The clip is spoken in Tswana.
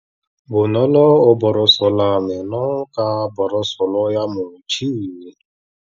Bonolô o borosola meno ka borosolo ya motšhine.